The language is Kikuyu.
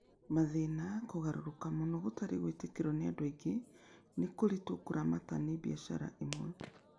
Mathĩna: Kũgarũrũka mũno, gũtarĩ gwĩtĩkĩrũo nĩ andũ aingĩ, kũritũ kũramata nĩ biacara imwe.